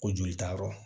Ko joli taa yɔrɔ